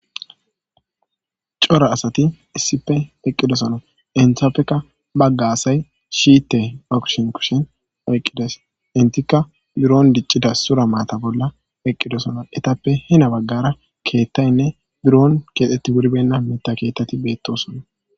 Cora asati issipe eqqidosono entiapekka bagga asay shite akshen kushen oyqqides intikka buron diccida sura maata bolla eqqidosono etappe hina baggara keettaynne buron keexxetti wurbenna meta keettati beettosona